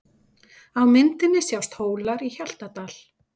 Á myndinni sjást Hólar í Hjaltadal.